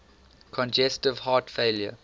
congestive heart failure